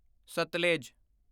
Sutlej